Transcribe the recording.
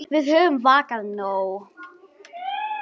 Við höfum vakað nóg.